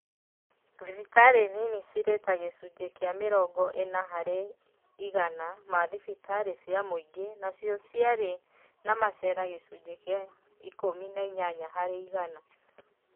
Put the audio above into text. Thibitarĩ nini cirĩ ta gĩcunjĩ kĩa mĩrongo ĩna harĩ igana ma thibitarĩ cia mũingĩ nacio ciarĩ na macera gĩcunjĩ kĩa ikũmi na inyanya harĩ igana